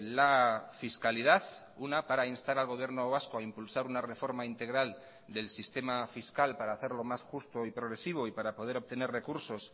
la fiscalidad una para instar al gobierno vasco a impulsar una reforma integral del sistema fiscal para hacerlo más justo y progresivo y para poder obtener recursos